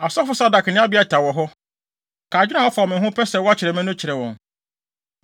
Asɔfo Sadok ne Abiatar wɔ hɔ. Ka adwene a wɔafa wɔ me ho, pɛ sɛ wɔkyere me no kyerɛ wɔn,